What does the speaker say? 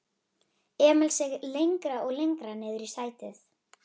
Emil seig lengra og lengra niðrí sætið.